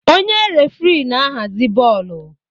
Onye referii na-ahazi bọọlụ.